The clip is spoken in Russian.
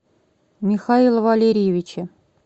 михаила валерьевича